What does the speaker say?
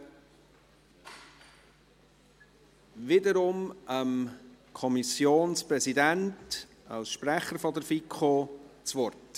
Ich gebe wiederum dem Kommissionspräsidenten als Sprecher der FiKo das Wort.